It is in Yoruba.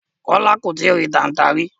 Kola ko tìí rì tànta rí